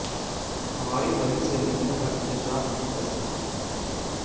हमारी परी से मिलने का इंतजार नहीं कर सकती